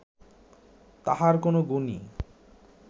তাঁহার কোন গুণই